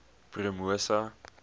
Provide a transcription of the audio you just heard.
promosa